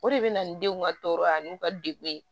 O de bɛ na ni denw ka tɔɔrɔ ani u ka degun ye